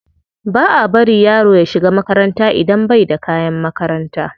Ba a bari yaro ya shiga makaranta idan bai da kayan makaranta.